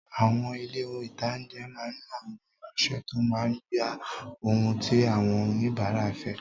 Àwọn ilé-ìtánjẹ máa ní àwọn ìránsẹ́ tó máa gba ohun tí àwọ́n òníbàárà fẹ́